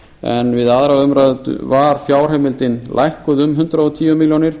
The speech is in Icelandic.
en við önnur umræða var fjárheimildin lækkuð um hundrað og tíu milljónir